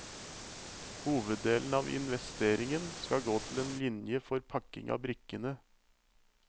Hoveddelen av investeringen skal gå til en linje for pakking av brikkene.